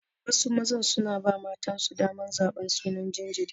Wasu mazan suna ba matansu daman zaban sunan jinjiri.